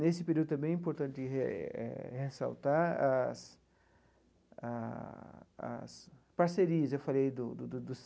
Nesse período também é importante eh eh eh ressaltar as a as parcerias, eu falei do do do do.